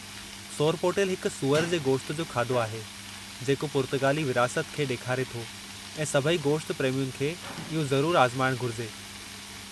सोरपोटेल हिकु सूअर जे गोश्त जो खाधो आहे जेको पुर्तगाली विरासत खे ॾेखारे थो ऐं सभई गोश्त प्रेमियुनि खे इहो ज़रूरु आज़माइणु घुरिजे।